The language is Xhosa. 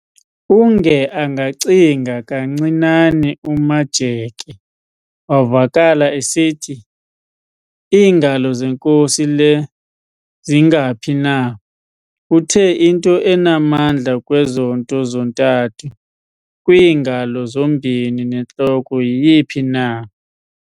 Unge angacinga kancinane uMajeke, wavakala esithi, "Iingalo zenkosi le zingaphi na? Uthe, "Into enamandla kwezo nto zontathu - kwiingalo zombini nentloko - yiyiphi na?